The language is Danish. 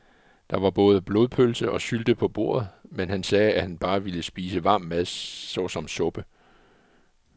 Der var både blodpølse og sylte på bordet, men han sagde, at han bare ville spise varm mad såsom suppe.